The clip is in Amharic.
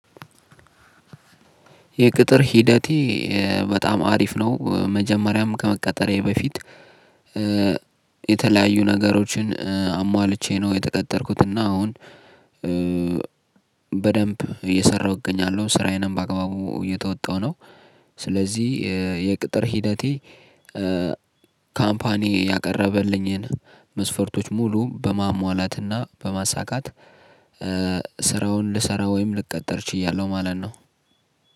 የቅጥር ሂደቴ በጣም አሪፍ ነው። መጀመሪያም ከመቀጠሬ በፊት የተለያዩ ነገሮችን አሟልቼ ነው የተጠቀጠርኩት። እና አሁን በደንብ እየሰራሁ እገኛለሁ ስራዬንም በአግባቡ እየተወጣሁ ነው። ስለዚህ የቅጥር ሂደቴ ካምፓኒ ያቀረበልኝን መስፈርቶች ሙሉ በማሟላትና በማሳካት ስራውን ልሰራ ወይም ልቀጥር ችያለሁ። ማለት ነው።